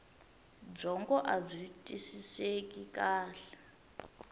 byongo abyi twisiseki kahle